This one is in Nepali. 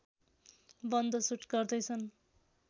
बन्द सुट गर्दैछन्